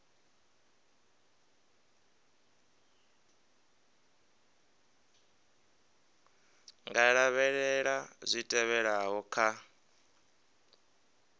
nga lavhelela zwi tevhelaho kha